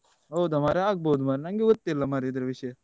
ಹೌದಾ ಮಾರೆ ಆಗ್ಬೋದು ಮಾರೆ ನನ್ಗೆ ಗೊತ್ತಿಲ ಮಾರೆ ಇದ್ರ ವಿಷಯ.